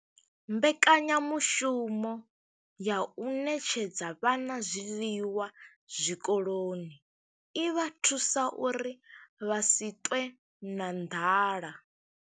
Mbekanya mushumo ya u ṋetshedza vhana zwiḽiwa zwikoloni i vha thusa uri vha si ṱwe na nḓala.